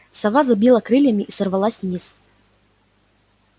сова забила крыльями и сорвалась вниз